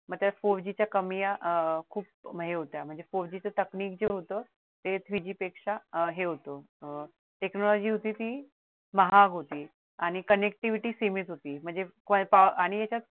मग त्यात four G च्या कमया अह खूप हे होत्या म्हणजे four G च technic जे होत ते three G पेक्षा हे होत अह technology होती ती महाग होती आणि connectivity होती ती खूप सीमित होती